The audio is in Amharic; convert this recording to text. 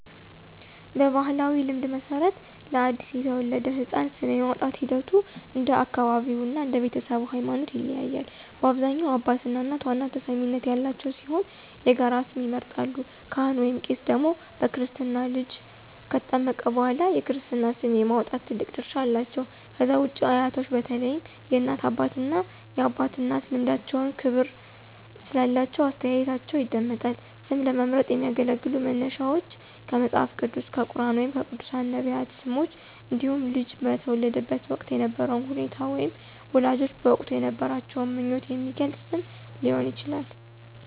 በባሕላዊ ልማድ መሠረት፣ ለአዲስ የተወለደ ሕፃን ስም የማውጣቱ ሂደት እንደ አካባቢው እና እንደ ቤተሰቡ ሃይማኖት ይለያያል። በአብዛኛው አባትና እናት ዋና ተሰሚነት ያላቸው ሲሆን የጋራ ስም ይመርጣሉ። ካህን/ቄስ ደግሞ በክርስትና ልጁ ከተጠመቀ በኋላ የክርስትና ስም የማውጣት ትልቅ ድርሻ አላቸው። ከዛ ውጪ አያቶች በተለይም የእናት አባትና የአባት እናት ልምዳቸውና ክብር ስላላቸው አስተያየታቸው ይደመጣል። ስም ለመምረጥ የሚያገለግሉ መነሻዎች ከመጽሐፍ ቅዱስ፣ ከቁርኣን ወይም ከቅዱሳን/ነቢያት ስሞች እንዲሁም ልጁ በተወለደበት ወቅት የነበረውን ሁኔታ ወይም ወላጆች በወቅቱ የነበራቸውን ምኞት የሚገልጽ ስም ሊሆን ይችላል።